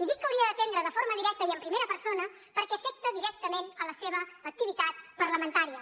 i dic que hauria d’atendre de forma directa i en primera persona perquè afecta directament la seva activitat parlamentària